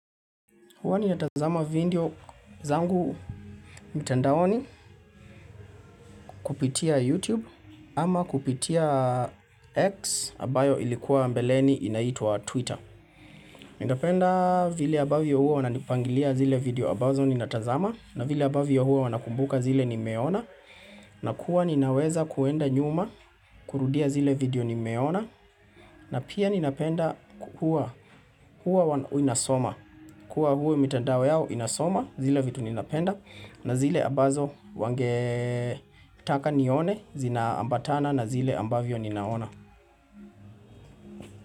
Huwa nina tazama video zangu mtandaoni kupitia YouTube ama kupitia X ambayo ilikuwa mbeleni inaitwa Twitter. Nindapenda vile abavyo huo wanapangilia zile video ambazo ni na tazama na vile abavyo huo wanakumbuka zile nimeona na kuwa ninaweza kuenda nyuma kurudia zile video ni meona na pia ninapenda huo kuwa inasoma. Kwa huwe mitandao yao inasoma zile vitu ninapenda na zile ambazo wange taka nione zina ambatana na zile ambavyo ninaona.